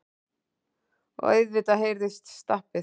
Og auðvitað heyrðist stappið.